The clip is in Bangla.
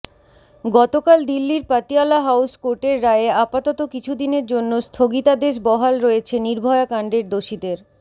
গতকাল দিল্লির পাতিয়ালা হাউস কোর্টের রায়ে আপাতত কিছুদিনের জন্য স্থগিতাদেশ বহাল রয়েছে নির্ভয়া কাণ্ডের দোষীদের